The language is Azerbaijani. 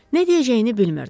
Nə deyəcəyini bilmirdi.